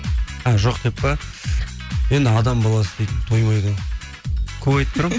і жоқ деп пе енді адам баласы дейтін тоймайды ғой көп айтып тұрамын